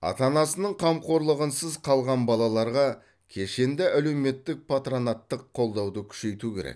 ата анасының қамқорлығынсыз қалған балаларға кешенді әлеуметтік патронаттық қолдауды күшейту керек